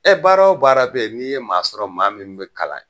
baaraw baara bɛ yen n'i ye maa sɔrɔ maa min bɛ kalan.